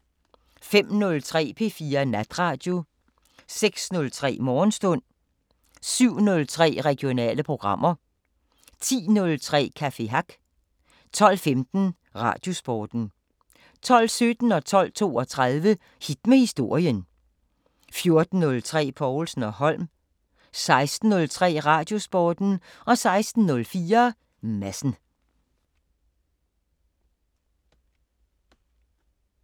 05:03: P4 Natradio 06:03: Morgenstund 07:03: Regionale programmer 10:03: Café Hack 12:15: Radiosporten 12:17: Hit med historien 12:32: Hit med historien 14:03: Povlsen & Holm 16:03: Radiosporten 16:04: Madsen